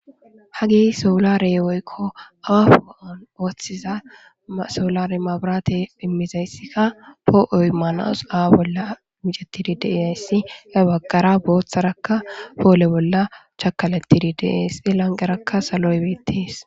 ha gey soolare woykko awafoo7on ooththiza soolare maburate immizayssika poo7oy maanaosu aa bolla micatidi deiassi he baggara booththarakka poole bolla chakalatidi deeesi lanqerakka saloybiettees